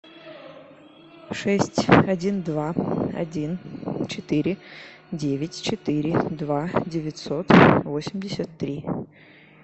шесть один два один четыре девять четыре два девятьсот восемьдесят три